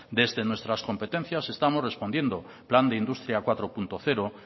desde nuestras competencias estamos respondiendo plan de industria cuatro punto cero